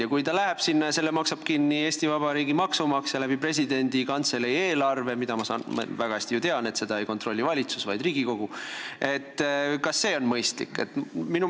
Ja kui ta läheb sinna ja selle maksab kinni Eesti Vabariigi maksumaksja presidendi kantselei eelarve kaudu – mida, nagu ma väga hästi tean, ei kontrolli valitsus, vaid Riigikogu –, siis kas see on mõistlik?